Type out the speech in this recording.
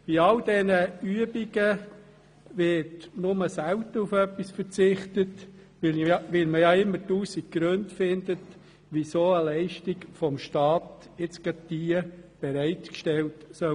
Bei all diesen Übungen wird nur selten auf etwas verzichtet, weil man immer tausend Gründe dafür findet, warum eine Leistung seitens des Staats unbedingt bereitgestellt werden soll.